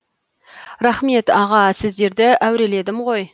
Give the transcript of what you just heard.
рахмет аға сіздерді әуреледім ғой